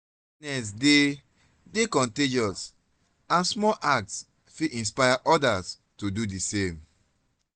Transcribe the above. kindness dey dey contagious and small acts fit inspire others to do di same.